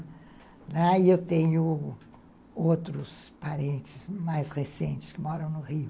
E eu tenho outros parentes mais recentes que moram no Rio.